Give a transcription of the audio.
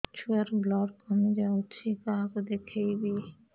ଛୁଆ ର ବ୍ଲଡ଼ କମି ଯାଉଛି କାହାକୁ ଦେଖେଇବି